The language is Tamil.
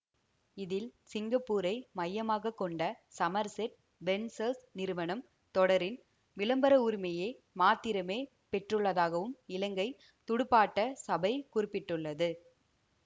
இதில் சிங்கப்பூரை மையமாக கொண்ட சமர்செட் வென்சர்ஸ் நிறுவனம் தொடரின் விளம்பர உரிமையை மாத்திரமே பெற்றுள்ளதாகவும் இலங்கை துடுப்பாட்ட சபை குறிப்பிட்டுள்ளது